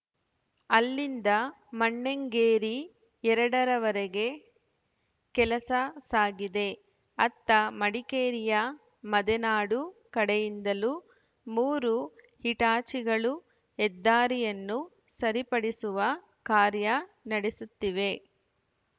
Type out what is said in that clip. ಅಲ್ಲಿಂದ ಮಣ್ಣೆಂಗೇರಿ ಎರಡ ವರೆಗೆ ಕೆಲಸ ಸಾಗಿದೆ ಅತ್ತ ಮಡಿಕೇರಿಯ ಮದೆನಾಡು ಕಡೆಯಿಂದಲೂ ಮೂರು ಹಿಟಾಚಿಗಳು ಹೆದ್ದಾರಿಯನ್ನು ಸರಿಪಡಿಸುವ ಕಾರ್ಯ ನಡೆಸುತ್ತಿವೆ